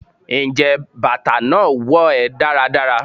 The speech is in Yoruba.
njẹ batà naa wo è daradara?